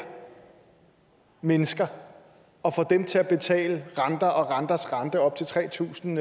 mennesker og får dem til at betale renter og renters rente op til tre tusind